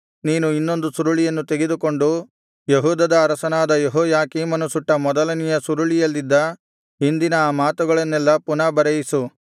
ನೀನು ಇನ್ನೊಂದು ಸುರುಳಿಯನ್ನು ತೆಗೆದುಕೊಂಡು ಯೆಹೂದದ ಅರಸನಾದ ಯೆಹೋಯಾಕೀಮನು ಸುಟ್ಟ ಮೊದಲನೆಯ ಸುರುಳಿಯಲ್ಲಿದ್ದ ಹಿಂದಿನ ಆ ಮಾತುಗಳನ್ನೆಲ್ಲಾ ಪುನಃ ಬರೆಯಿಸು